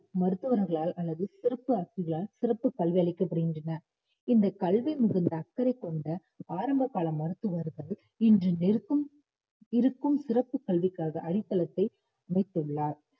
மருத்துவர்களால் அல்லது சிறப்பு ஆசிரியாரால் சிறப்பு கல்வி அளிக்கப்படுகின்றன இந்தக் கல்வியில் மிகுந்த அக்கறை கொண்ட ஆரம்ப கால மருத்துவர்கள் இன்று நிருக்கும்~ இருக்கும் சிறப்பு கல்விக்காக அடித்தளத்தை அமைத்துள்ளார்